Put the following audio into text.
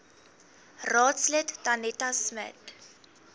raadslid danetta smit